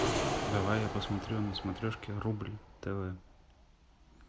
давай я посмотрю на смотрешке рубль тв